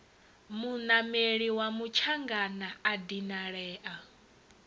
munameli wa mutshangana a dinalea